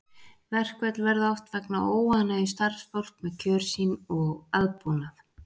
Verkföll verða oft vegna óánægju starfsfólks með kjör sín og aðbúnað.